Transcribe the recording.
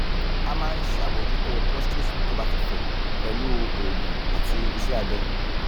a ma n sabojuto prostate to ba ti fe pelu oogun ati ise abe